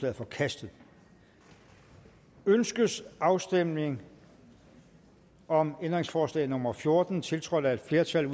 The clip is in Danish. er forkastet ønskes afstemning om ændringsforslag nummer fjorten tiltrådt af et flertal